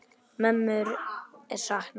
Mömmu er saknað.